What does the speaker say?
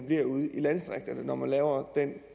ude i landdistrikterne når man laver den